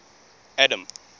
adam